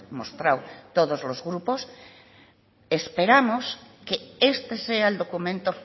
mostrado todos los grupos esperamos que este sea el documento